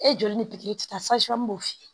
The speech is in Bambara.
E joli ni pikiri ta